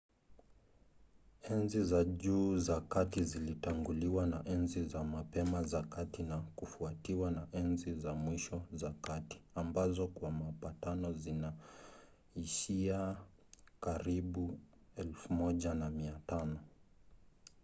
enzi za juu za kati zilitanguliwa na enzi za mapema za kati na kufuatiwa na enzi za mwisho za kati ambazo kwa mapatano zinaishia karibu 1500